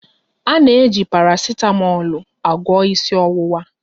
Ana eji parasitamọlu agwọ ịsị ọwụwa.